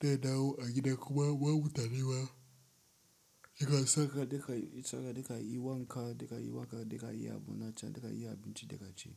Da nawo a gida kuma babu tarewa. Daka saka, daka saka daka yi wanka, daka yi waka, daka yi abun na can, daka yi abinci daka ci.